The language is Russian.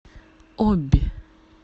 обь